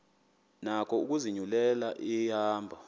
nako ukuzinyulela ihambo